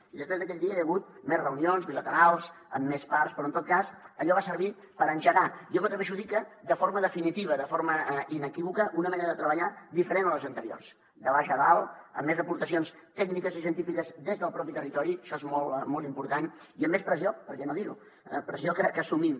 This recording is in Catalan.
i després d’aquell dia hi ha hagut més reunions bilaterals amb més parts però en tot cas allò va servir per engegar jo m’atreveixo a dir que de forma definitiva de forma inequívoca una manera de treballar diferent a les anteriors de baix a dalt amb més aportacions tècniques i científiques des del propi territori això és molt molt important i amb més pressió per què no dir ho pressió que assumim